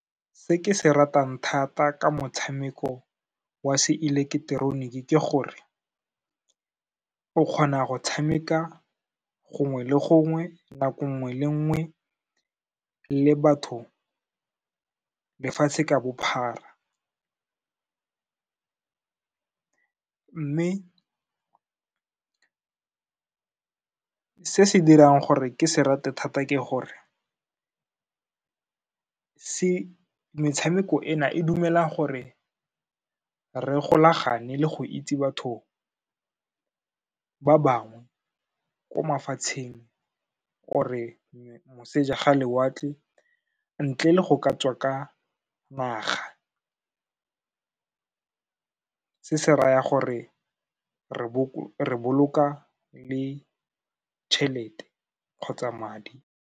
Se ke se ratang thata ka motshameko wa se eleketeroniki ke gore, o kgona go tshameka gongwe le gongwe, nako nngwe le nngwe le batho lefatshe ka bophara. Mme se se dirang gore ke se rata thata ke gore, metshameko ena e dumela gore re golagane le go itse batho ba bangwe ko mafatsheng or-re moseja ga lewatle, ntle le go ka tswa ka naga, se se raya gore re boloka le tšhelete kgotsa madi.